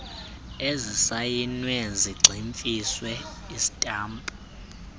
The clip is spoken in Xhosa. ezisayinwe zagximfizwa isitampu